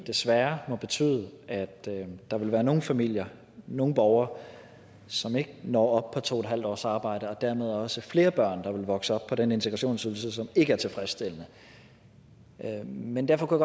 desværre må betyde at der vil være nogle familier nogle borgere som ikke når op på to en halv års arbejde og dermed også være flere børn der vil vokse op på den integrationsydelse som ikke er tilfredsstillende men derfor kunne